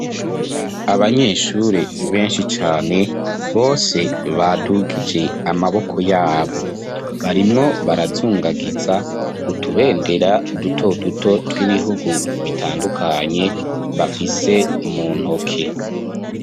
Abanyeshure, benshi cane, bose, badugije amaboko yabo; barimwo barazungagiza, utubendera duto duto, tw'ibihugu bitandukanye, bafise mu ntoke.